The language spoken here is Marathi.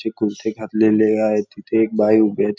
ती कुर्ती घातलेली आहे तिथे एक बाई उभी आहे ते --